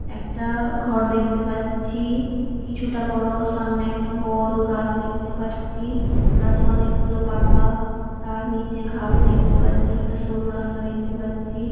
একটা ঘর দেখতে পাচ্ছি কিছুটা বড় সামনে একটা বঅড় গাছ দেখতে পাচ্ছি গাছে অনেকগুলো পাতা তার নিচে ঘাস দেখতে পাচ্ছি একটা সরু রাস্তা দেখতে পাচ্ছি।